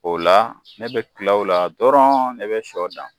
O la ne bɛ tila o la dɔrɔnw, ne bɛ sɔ dan